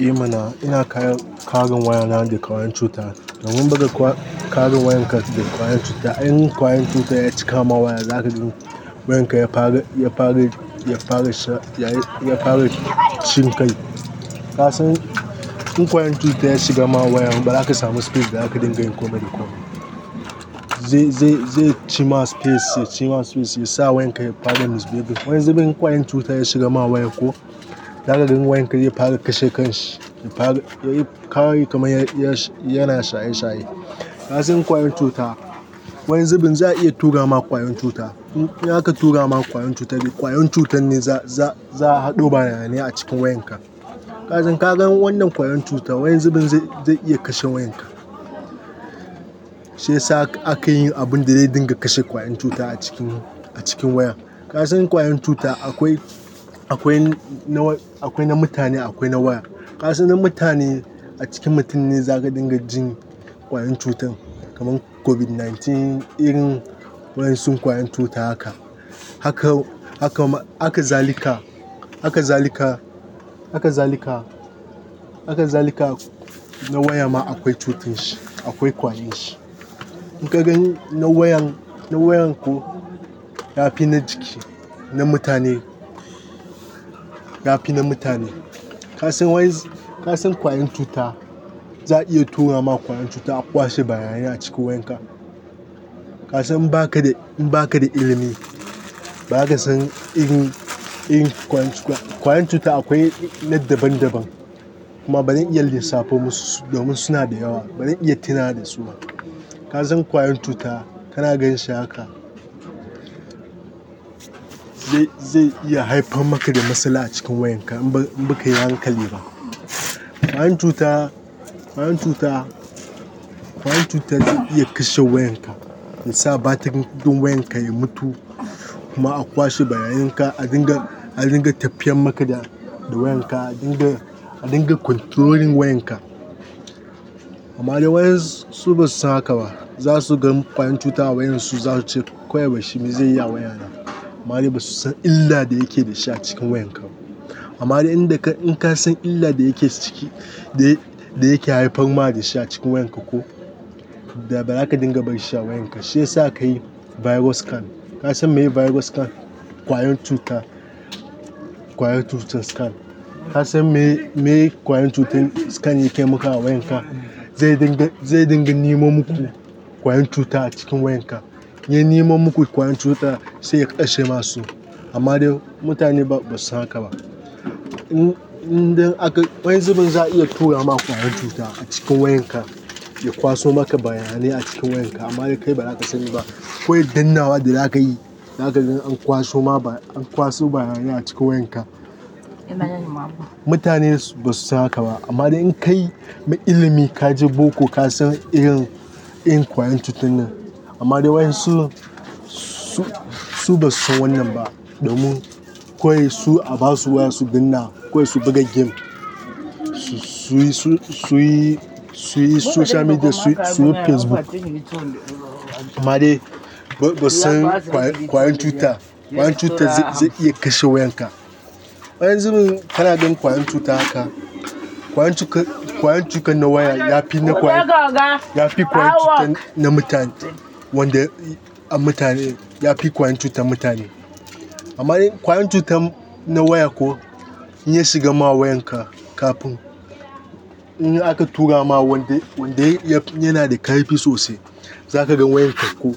Eh mana ina kare wayana daga wani cuta. Domin in baka kare wayan ka daga ƙwayan cuta, in ƙwayan cuta ya cika ma wayar, zaka ga wayan ka ya fara, ya fara, ya fara cin kai. Kasan in ƙwayan cuta ya shiga ma waya, ba zaka samu space da zaka dinga yin komai da komai. Zai cima space, ya ci ma space, ya sa wayan ka ya fara misbehaving. Wani zubin in ƙwayan cuta ya shigar ma waya ko, zaka ga wayan ka ya fara kashe kan shi, ya fara kamar yana shaye shaye. Kasan ƙwayan cuta, wani zubin za'a iya tura ma ƙwayan cuta. In aka tura ma ƙwayan cuta, ƙwayan cutar ne za'a hado bayanai a cikin wayan ka. Kasan ka gan wannan ƙwayan cutan, wani zubin zai iya kashe wayan ka. Shiyasa akayi abunda zai dinga kashe ƙwayan cuta a cikin, a cikin wayar. Kasan ƙwayan cuta akwai, akwai na, akwai na mutane, akwai na waya. Kasan na mutane, a cikin mutum ne za ka dinga jin ƙwayan cutar. Kaman Covid sha tara irin wa'yansu ƙwayan cuta haka. Haka zalika, haka zalika, haka zalika na waya ma akwai cutan shi, akwai ƙwarin shi. In ka ga na wayan, na wayan ko yafi na jiki, na mutane. Yafi na mutane. Kasan wayan, kasan ƙwayan cuta, za'a iya tura ma ƙwayan cuta a kwashe bayanai a cikin wayan ka. Kasan in baka da, in baka da ilimi, ba za ka san irin, irin ƙwayan cutar. Ƙwayen cuta akwai na daban daban. Kuma bazan iya lissafo musu, domin suna da yawa. Bazan iya tunawa da su ba. Kasan ƙwayan cuta kana ganinshi haka. Zai iya haifar maka da matsala a cikin wayan ka in baka yi hankali ba. Ƙwayan cuta, ƙwayan cuta, ƙwayan cuta zai iya kashe wayan ka, ya sa batirin wayan ka ya mutu kuma a kwashe bayanan ka, a dinga, a dinga tafiyar maka da wayan ka, a dinga, a dinga controlling wayan ka. Amade wa'yansu basu san haka ba. Zasu ga kwayan cuta a wayansu zasu ce kawai barshi, me zaiyi a wayana? Amma dai basu san illa da yake da shi a cikin wayan ka ba. Amma dai in, in ka san illa da yake ciki, da yake haifar ma da shi a cikin wayan ka ko, da ba za ka dinga barin shi a wayan ka. Shiyasa ka yi virus scan. Kasan me ye virus scan? Ƙwayan cuta, ƙwayan cutar scan. Kasan meye ƙwayan cutar scan yake maka a wayan ka? Zai dinga, zai dinga nemo muku ƙwayan cuta a cikin wayan ka. In ya nemo muku ƙwayan cuta, sai ya kashe masu. Amma dai mutane ba basu san haka ba. In, idan aka, wani zubin za'a iya tura ma ƙwayan cuta a cikin wayan ka, ya kwaso maka bayanai a cikin wayan ka, amma dai kai ba zaka sani ba. Kawai dannnawa da za ka yi, zaka gani an kwaso ma ba, an kwaso bayanai a cikin wayan ka. Mutane basu san haka ba. Amma dai in kai mai ilimi, ka je boko, ka san irin, irin ƙwayan cutar nan. Amma dai wa'yansu, su, su basu san wannan ba domin kawai su a basu waya su danna, kawai su buga game, su yi, su yi, su yi social media, su yi Facebook. Amma dai basu san ƙwayan cuta, ƙwayan cuta zai iya kashe wayan ka. Wani zubin kana ganin ƙwayan cuta haka, ƙwayan cutar, ƙwayan cutar na waya yafi na ƙwaya, yafi ƙwayan cutar na mutane, wanda a mutane, yafi ƙwayan cutar mutane. Amade ƙwayan cutar na waya ko, in ya shiga ma wayan ka kafin, in aka tura ma wanda, wanda yana da ƙarfi sosai, za ka ga wayan ka ko,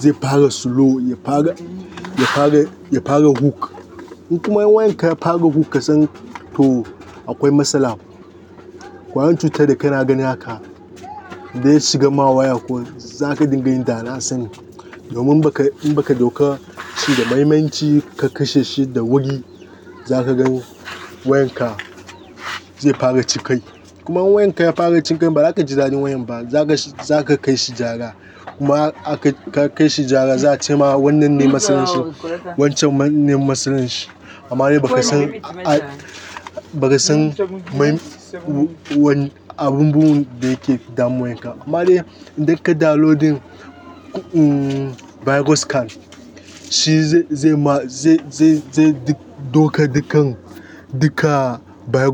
zai fara slow, ya fara, ya fara, ya fara hook. In kuma wayan ka ya fara hook kasan to akwai matsala. Ƙwayan cutar da kana gani haka da ya shiga ma waya ko, za ka dinga yin dana sani. Domin baka, in baka ɗauka shi da mahimanci ka kashe shi da wuri, za ka gan wayan ka zai fara ci kai. Kuma in wayan ka ya fara cin kai, ba za ka ji daɗin wayan ba, za ka kai shi gyara. Kuma aka kai shi gyara, za a cema wannan ne matsalan shi, wancan ne matsalan shi. Amma dai ba ka san, ba ka san abubuwan da yake damun wayan ka. Amma dai idan kai downloading virus scan, shi zai ma, zai, zai ɗauka dukkan duka virus.